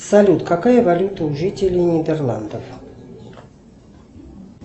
салют какая валюта у жителей нидерландов